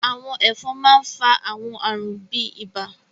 àwọn ẹfọn mà n fa àwọn àarun bi ibà